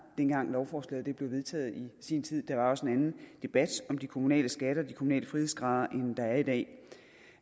dengang lovforslaget blev vedtaget i sin tid der var også en anden debat om de kommunale skatter og de kommunale frihedsgrader end der er i dag